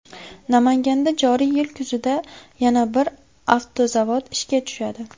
Namanganda joriy yil kuzida yana bir avtozavod ishga tushadi.